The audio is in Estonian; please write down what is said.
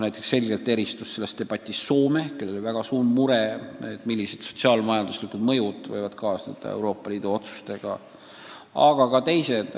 Selgelt eristus selles debatis Soome, kellel on väga suur mure, et millised sotsiaal-majanduslikud mõjud võivad Euroopa Liidu otsustega kaasneda.